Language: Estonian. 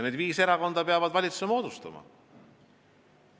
Need viis erakonda peavad valitsuse moodustama.